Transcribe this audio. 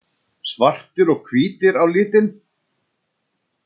Svartir og hvítir á litinn.